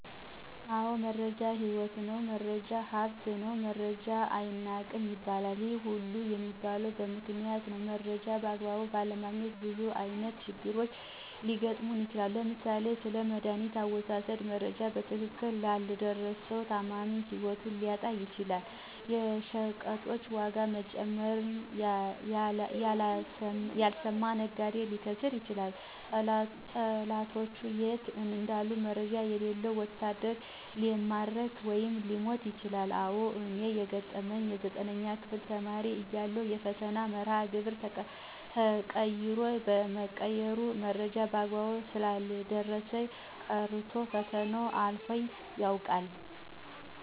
አዎ! መረጃ ህይወት ነው፣ መረጃ ሀብት ነው መረጃ አይናቅም ይባለል። ይህ ሁሉ የሚባለ በምክንያት ነው። መረጃን በአግባቡ ባለማግኘት ብዙ አይነት ችግር ሊገጥም ይችላል። ለምሳሌ፦ ስለመዳኒት አወሳሠድ መረጃ በትክክል ያልደረሠው ታማሚ ህይወቱን ሊያጣ ይችላል። የሸቀጦች ዋጋ መጨመርን ያልሰማ ነጋዴ ሊከስር ይችላል። ጠላቶቹ የት እንዳሉ መረጃ የሌለው ወታደር ሊማረክ ወይም ሊሞት ይችላል። አዎ! እኔን የገጠመኝ የ9ኛ ክፍል ተማሪ እያለሁ የፈተና መርሃ ግብር ተቀይሮ የመቀየሩ መረጃ በአግባቡ ሳይደርሠኝ ቀርቶ ፈተና አልፎኝ ያውቃል።